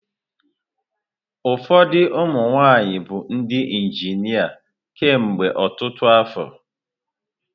Ụfọdụ ụmụ nwaanyị abụọ ndị injịnia kemgbe ọtụtụ afọ.